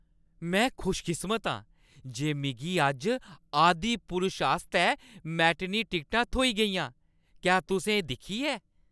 में खुशकिस्मत आं जे मिगी अज्ज "आदिपुरुष" आस्तै मैटिनी टिकटां थ्होई गेइयां। क्या तुसें एह् दिक्खी ऐ?